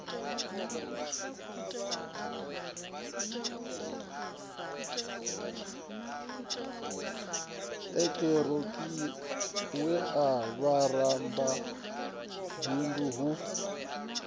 eekihironiki na vhawe vharamabindu hu